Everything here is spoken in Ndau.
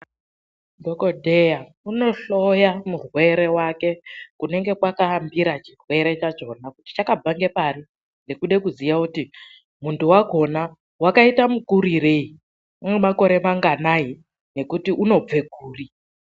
Dhokodheya unohloya murwere wake kunenge kwakaambira chirwere chakona kuti chakabva nepari nekuda kuziya kuti muntu wakona wakaita mukurireyi, unemakore manganai, nekuti unobve kuri.